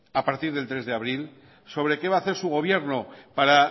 a partir del tres de abril sobre qué va a hacer su gobierno para